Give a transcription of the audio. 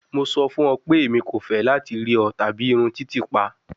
Mo sọ fun ọ pe emi ko fẹ lati rii ọ tabi irun titiipa